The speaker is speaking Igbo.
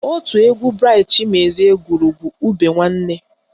Otu egwu Braịt Chimezie gụrụ bụ Ube Nwanne